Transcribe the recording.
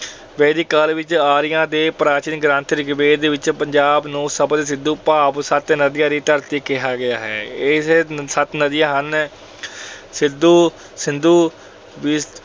ਵੈਦਿਕ ਕਾਲ ਵਿੱਚ ਆਰੀਆ ਅਤੇ ਪ੍ਰਾਚੀਨ ਗ੍ਰੰਥ ਰਿਗਵੇਦ ਵਿੱਚ ਪੰਜਾਬ ਨੂੰ ਸਪਤ ਸਿੰਧੂ ਭਾਵ ਸੱਤ ਨਦੀਆਂ ਦੀ ਧਰਤੀ ਕਿਹਾ ਗਿਆ ਹੈ। ਇਹ ਸੱਤ ਨਦੀਆਂ ਹਨ- ਸਿੱਧੂ ਅਹ ਸਿੰਧੂ